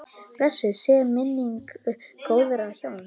Blessuð sé minning góðra hjóna.